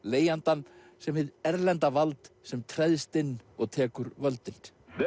leigjandann sem hið erlenda vald sem treðst inn og tekur völdin